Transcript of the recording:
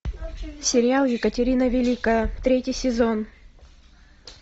сериал екатерина великая третий сезон